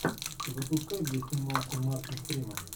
запускай где снимался мартин фримен